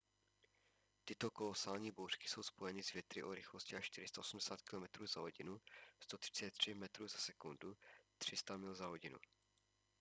tyto kolosální bouřky jsou spojeny s větry o rychlosti až 480 km/h 133 m/s; 300 mil/h